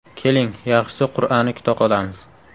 Keling, yaxshisi qur’ani kuta qolamiz.